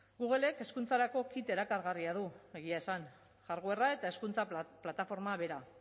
googlek hezkuntzarako kit erakargarria du egia esan hardwarea eta hezkuntza plataforma bera